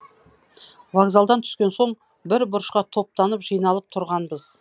вокзалдан түскен соң бір бұрышқа топтанып жиналып тұрғанбыз